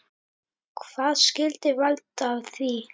Hvað skyldi valda því?